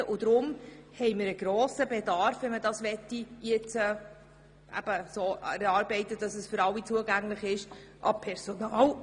Sollen die Daten allen zugänglich sein, besteht ein grosser Bedarf an Personal.